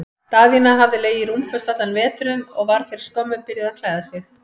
Daðína hafði legið rúmföst allan veturinn og var fyrir skömmu byrjuð að klæða sig.